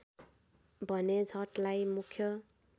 भने छठलाई मुख्य